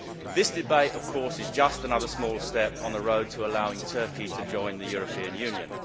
This debate, of course, is just another small step on the road to allowing Turkey to join the European Union.